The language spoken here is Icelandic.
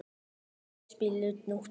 Daðey, spilaðu tónlist.